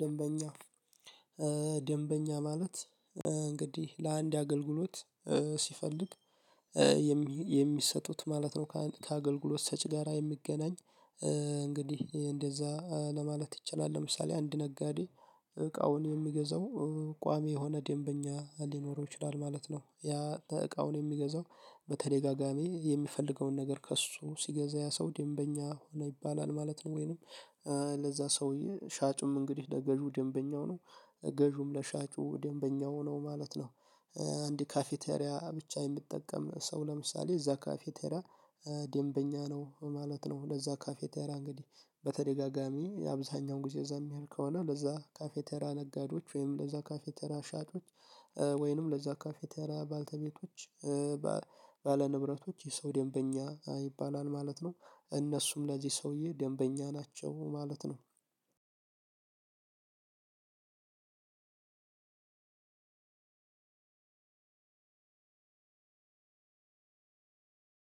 ደንበኛ ደንበኛ ማለት እንግዲህ ለአንድ አገልግሎት ሲፈልግ የሚሰጡት ማለት ነው ከአንድ ከአገልግሎት ሰጪ ጋራ የሚገናኝ እንግዲህ እንደዛ ለማለት ይቻላል። ለምሳሌ አንድ ነጋዴ እቃውን የሚገዛው ቋሚ የሆነ ደንበኛ ሊኖረው ይችላል ማለት ነው። ያ እቃውን የሚገዛው በተደጋጋሚ የሚፈልገውን ነገር ከእሱ ሲገዛ ያ ሰው ደንበኛ ሆነ ይባላል ማለት ነው። ወይንም ለዛ ሰውዬ ሻጭም እንግዲህ ለገዢው ደንበኛው ነው ገዢውም ለሻጩ ደንበኛው ነው ማለት ነው። አንድ ካፍቴሪያ ብቻ የምጠቀም ሰው ለምሳሌ እዛ ካፍቴሪያ ደንበኛ ነው ማለት ነው። ለዛ ካፍቴሪያ እንግዲህ በተደጋጋሚ አብዛኛው ጊዜ እዛ የሚሆን ከሆነ ለዛ ካፍቴሪያ ነጋዴዎች ወይም ለዛ ካፍቴሪያ ሻጮች ወይንም ለዛ ካፍቴሪያ ባለቤቶች ባለ ንብረቶች የሰው ደንበኛ ይባላል ማለት ነው። እነሱም ለዚህ ሰውዬ ደንበኛ ናቸው ማለት ነው።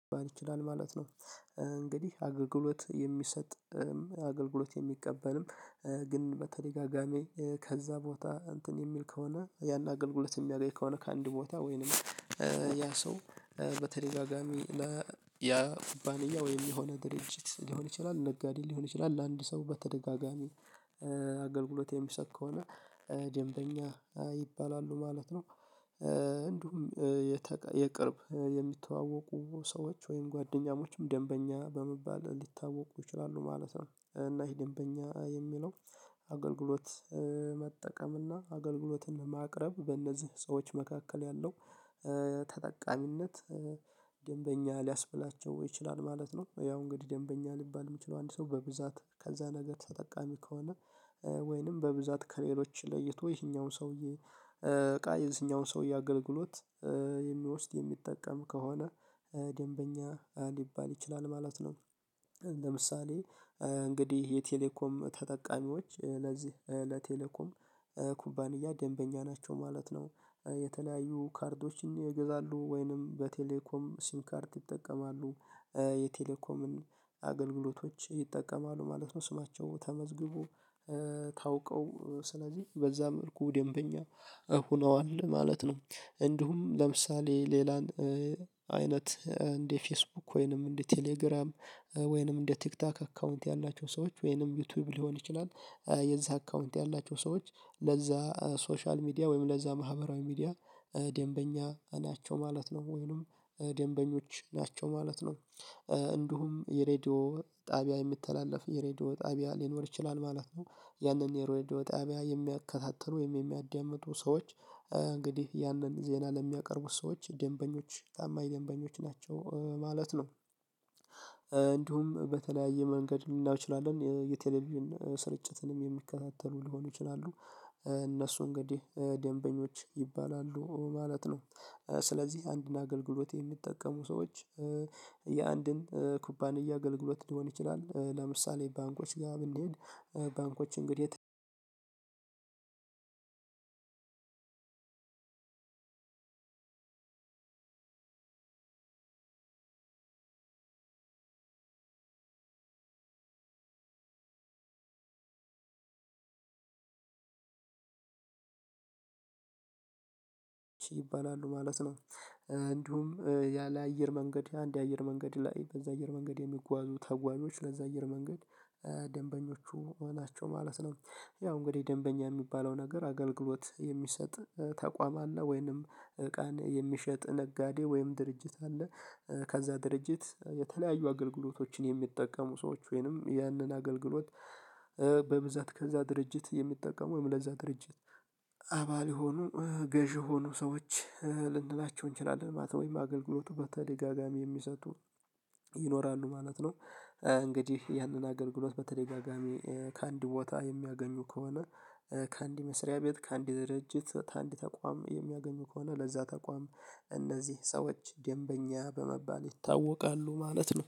ሊባል ይችላል ማለት ነው። እንግዲህ አገልግሎት የሚሰጥ አገልግሎት የሚቀበልም ግን በተደጋጋሚ ከዛ ቦታ እንትን የሚል ከሆነ ያን አገልግሎት የሚያገኝ ከሆነ ከአንድ ቦታ ወይንም ያ ሰው በተደጋጋሚ ያ ኩባንያ ወይም የሆነ ድርጅት ሊሆን ይችላል ነጋዴ ሊሆን ይችላል ለአንድ ሰው በተደጋጋሚ አገልግሎት የሚሰጥ ከሆነ ደንበኛ ይባላሉ ማለት ነው። እንዲሁም የቅርብ የሚተዋወቁ ሰዎች ወይም ጓደኛሞችም ደንበኛ በመባል ሊታወቁ ይችላሉ ማለት ነው። እና ይሄ ደንበኛ የሚለው አገልግሎት መጠቀም እና አገልግሎትን ማቅረብ በእነዚህ ሰዎች መካከል ያለው ተጠቃሚነት ደንበኛ ሊያስብላቸው ይችላል ማለት ነው። ያው እንግዲህ ደንበኛ ሊባል የሚችለው አንድ ሰው በብዛት ከዛ ነገር ተጠቃሚ ከሆነ ወይንም በብዛት ከሌሎች ለይቶ ይሄኛውን ሰውዬ እቃ የዚህኛውን ሰውዬ አገልግሎት የሚወስድ የሚጠቀም ከሆነ ደንበኛ ሊባል ይችላል ማለት ነው። ለምሳሌ እንግዲህ የቴሌኮም ተጠቃሚዎች ለዚህ ለቴሌኮም ኩባንያ ደንበኛ ናቸው ማለት ነው። የተለያዩ ካርዶችን ይገዛሉ ወይንም በቴሌኮም ሲም ካርድ ይጠቀማሉ የቴሌኮምን አገልግሎቶች ይጠቀማሉ ማለት ነው ስማቸው ተመዝግቦ ታውቀው ስለዚህ በዛ መልኩ ደንበኛ ሆነዋል ማለት ነው። እንዲሁም ለምሳሌ ሌላን አይነት እንደ ፌስቡክ ወይንም እንደ ቴሌግራም ወይንም እንደ ቲክቶክ አካውንት ያላቸው ሰዎች ወይንም ዩቲዩብ ሊሆን ይችላል የዛ አካውንት ያላቸው ሰዎች ለዛ ሶሻል ሚዲያ ወይም ለዛ ማህበራዊ ሚዲያ ደንበኛ ናቸው ማለት ነው። ወይንም ደንበኞች ናቸው ማለት ነው። እንዲሁም የሬዲዮ ጣቢያ የምትተላለፍ የሬዲዮ ጣቢያ ሊኖር ይችላል ማለት ነው ያንን የሬድዮ ጣቢያ የሚከታተሉ ወይም የሚያዳምጡ ሰዎች እንግዲህ ያንን ዜና ለሚያቀርቡት ሰዎች ደንበኞች ታማኝ ደንበኞች ናቸው ማለት ነው። እንዲሁም በተለያየ መንገድ ሊናየው ይችላል የቴሌቪዥን ስርጭትንም የሚከታተሉ ሊሆኑ ይችላሉ እነሱ እንግዲህ ደንበኞች ይባላሉ ማለት ነው። ስለዚህ አንድን አገልግሎት የሚጠቀሙ ሰዎች የአንድን ኩባንያ አገልግሎት ሊሆን ይችላል ለምሳሌ ባንኮች ጋር ብንሄድ ባንኮች እንግዲህ አንድ ሁለት ሶስት አራት አምስት ይባላሉ ማለት ነው። እንዲሁም ያለ አየር መንገድ አንድ አየር መንገድ ላይ በዛ አየር መንገድ የሚጓዙ ተጓዦች ለዛ አየር መንገድ ደንበኞቹ ሆናቸው ማለት ነው። ያው እንግዲህ ደንበኛ የሚባለው ነገር አገልግሎት የሚሰጥ ተቋም አለ ወይንም ቀን የሚሸጥ ነጋዴ ወይም ድርጅት አለ። ከዛ ድርጅት የተለያዩ አገልግሎቶችን የሚጠቀሙ ሰዎች ወይንም ያንን አገልግሎት በብዛት ከዛ ድርጅት የሚጠቀም ወይም ለዛ ድርጅት አባል የሆኑ ገዢ የሆኑ ሰዎች ልንላቸው እንችላለን ማለት ወይም አገልግሎቱ በተለይ በተደጋጋሚ የሚሰጡ ይኖራሉ ማለት ነው። እንግዲህ ያንን አገርግሎት በተደጋጋሚ ከአንድ ቦታ የሚያገኙ ከሆነ ከአንድ መስሪያ ቤት ከአንድ ድርጅት ከአንድ ተቋም የሚያገኙ ከሆነ ለዛ ተቋም እነዚህ ሰዎች ደንበኛ በመባል ይታወቃሉ ማለት ነው።